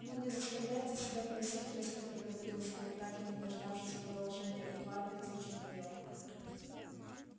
ну не заставляйте себя просить резко проговорил скотт так и не дождавшись продолжения выкладывайте в чём дело